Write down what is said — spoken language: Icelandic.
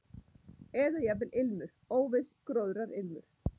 Eða jafnvel ilmur, óviss gróðrarilmur.